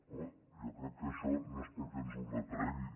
home jo crec que això no es perquè ens ho retregui